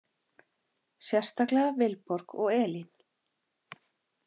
Sérstaklega Vilborg og Elín.